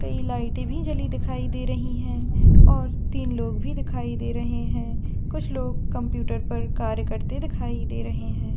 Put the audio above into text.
कहीं लाइट सभी जली हुई दिखाई दे रही है और तीन लोग भी दिखाई दे रहे हैं कुछ लोग कंप्यूटर पर कार्य करते दिखाई दे रहा है।